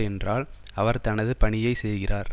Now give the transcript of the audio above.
என்றால் அவர் தனது பணியை செய்கிறார்